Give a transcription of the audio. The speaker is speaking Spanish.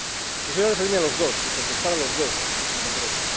Quisiera referirme a los dos y contestar a los dos en concreto.